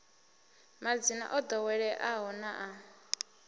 madzina o ḓoweleaho na a